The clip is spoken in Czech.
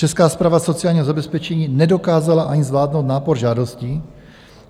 Česká správa sociálního zabezpečení nedokázala ani zvládnout nápor žádostí.